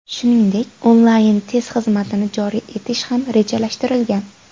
Shuningdek, onlayn-test xizmatini joriy etish ham rejalashtirilgan.